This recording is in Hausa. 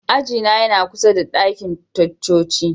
Aji na yana kusa da dakin ticcoci.